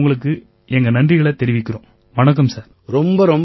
நாங்க எல்லாருமே உங்களுக்கு எங்க நன்றிகளைத் தெரிவிக்கறோம்